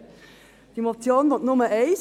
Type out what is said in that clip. Diese Motion will nur eines: